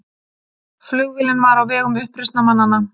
Flugvélin var á vegum uppreisnarmanna